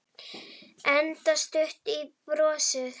Enda stutt í brosið.